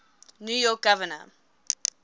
new york governor